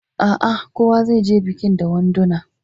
A a, kowa zai je bikin da wanduna.